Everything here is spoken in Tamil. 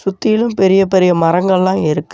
சுத்திலும் பெரிய பெரிய மரங்கள்லாம் இருக்கு.